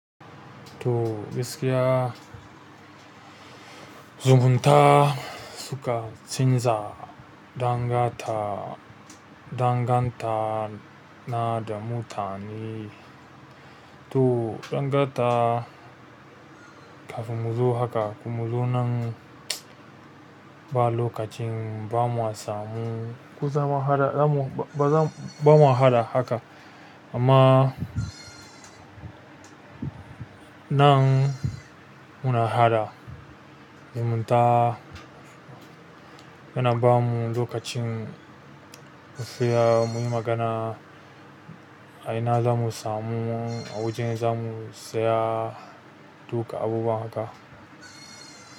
To gaskiya, zungunta suka canza danganta, danganta na da mutane. To danganta kafin mu zo haka, kafin mu zo nan ba lokacin ba mu samu, ba za mu haɗa haka amma nan muna haɗa. Mun ta yana bamu lokacin mu saya, muyi magana, a ina za mu samu, a waje za mu saya duka abubuwa haka.